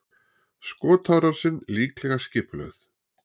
Skotárásin líklega skipulögð